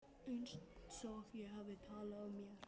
Einsog ég hafi talað af mér.